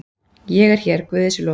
Ég er hér, guði sé lof.